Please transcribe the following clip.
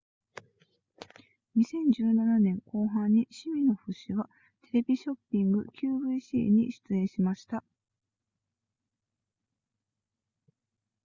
2017年後半にシミノフ氏はテレビショッピング qvc に出演しました